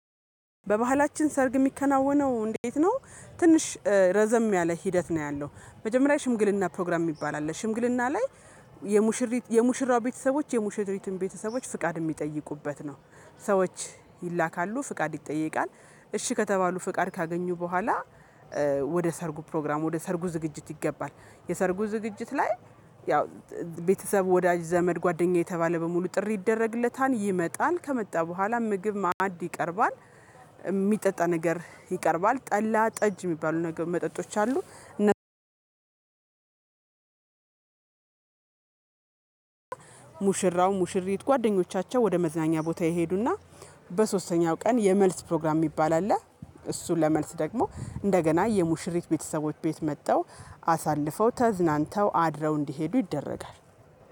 በባህላችን ሰርግ የሚከናወነው እንዴት ነው? ትንሽ ረዘም ያለ ሂደት ነው ያለው መጀመሪያ ሽምግልና ፕሮግራም የሚባል አለ ሽምግልና ላይ የሙሽሪት የሙሽራው ቤተሰቦች የሙሽሪትን ቤተሰቦች ፍቃድ የሚጠይቁበት ነው። ሰዎች ይላካሉ ፍቃድ ይጠየቃል እሺ ከተባሉ ፍቃድ ካገኙ በኋላ ወደ ሰርጉ ፕሮግራም ወደ ሰርጉ ዝግጅት ይገባል። የሰርጉ ዝግጅት ላይ ያው ቤተሰብ ወዳጅ ዘመድ ጓደኛ የተባለ በሙሉ ጥሪ ይደረግለታል ይመጣል ከመጣ በኋላ ምግብ መዐድ ይቀርባል። የሚጠጣ ነገር ይቀርባል ጠላ ጠጅ የሚባሉ ነገሮች መጠጦች አሉ። ሙሽራው ሙሽሪት ጓደኞቻቸው ወደ መዝናኛ ቦታ ይሄዱና በሶስተኛው ቀን የመልስ ፕሮግራም የሚባል አለ። እሱ ለመልስ ደግሞ እንደገና የሙሽሪት ቤተሰቦች ቤት መጥተው አሳልፈው ተዝናንተው አድረው እንዲሄዱ ይደረጋል።